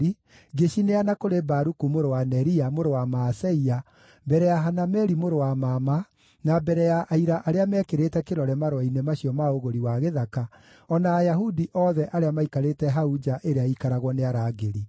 ngĩcineana kũrĩ Baruku mũrũ wa Neria, mũrũ wa Maaseia, mbere ya Hanameli mũrũ wa mama, na mbere ya aira arĩa meekĩrĩte kĩrore marũa-inĩ macio ma ũgũri wa gĩthaka, o na Ayahudi othe arĩa maikarĩte hau nja ĩrĩa ĩikaragio nĩ arangĩri.